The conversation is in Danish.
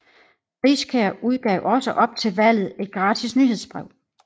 Riskær udgav også op til valget et gratis nyhedsbrev